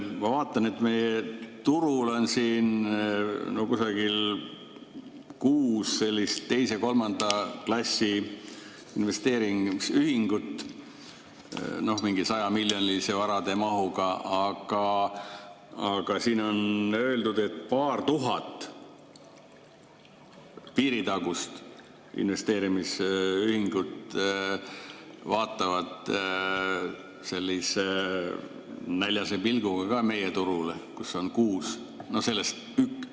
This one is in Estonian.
Ma vaatan, et meie turul on umbes kuus sellist teise-kolmanda klassi investeerimisühingut, mingi 100‑miljonilise varade mahuga, aga siin on öeldud, et paar tuhat piiritagust investeerimisühingut vaatavad näljase pilguga meie turule, kus on kuus.